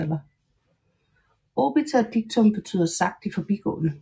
Obiter dictum betyder sagt i forbigående